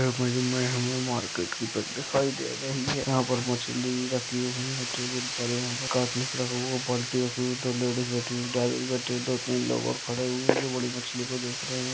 Market की दिखाई दे रही है यहाँ पर मछली रखी हुई है टेबुल पर यहाँ पर काटने को बाल्टी रखी हुई दो लेडीज बैठी हुई दादाजी बैठे दो-तीन लोग और खड़े हुए हैं जो बड़ी मछली को देख रहे हैं।